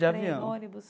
De avião. Nem ônibus?